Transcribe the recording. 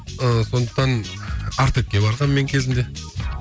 ыыы сондықтан артекке барғанмын мен кезінде